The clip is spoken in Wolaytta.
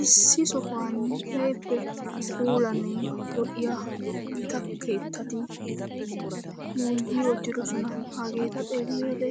Issi sohuwaani keehippe puulanne lo7iya gita keetteti yuuyyi uttidosona hageeta xeelliyode